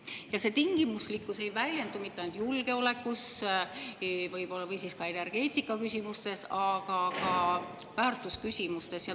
Ja see tingimuslikkus ei väljendu mitte ainult julgeolekus või energeetikaküsimustes, vaid ka väärtusküsimustes.